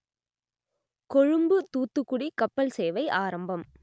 கொழும்பு தூத்துக்குடி கப்பல் சேவை ஆரம்பம்